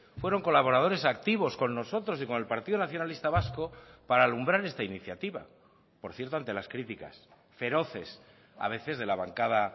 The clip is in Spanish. fueron colaboradores activos con nosotros y con el partido nacionalista vasco para alumbrar esta iniciativa por cierto ante las críticas feroces a veces de la bancada